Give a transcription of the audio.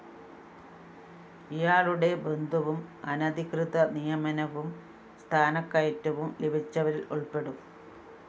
ഇയാളുടെ ബന്ധുവും അനധികൃത നിയമനവും സ്ഥാനക്കയറ്റവും ലഭിച്ചവരില്‍ ഉള്‍പ്പെടും